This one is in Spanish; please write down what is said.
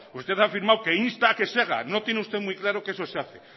usted ha afirmado que insta a que se haga no tiene usted muy claro que eso se hace